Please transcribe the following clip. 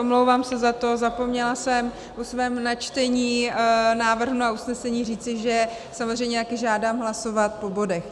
Omlouvám se za to, zapomněla jsem po svém načtení návrhu na usnesení říci, že samozřejmě taky žádám hlasovat po bodech.